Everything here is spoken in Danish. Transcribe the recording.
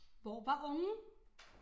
Hvor var ungen?